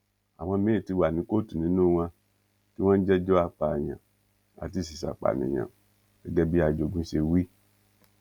àwọn míín ti wà ní kóòtù nínú wọn tí wọn ń jẹjọ apààyàn àti ìṣeéṣàpànìyàn gẹgẹ bí ajogún ṣe wí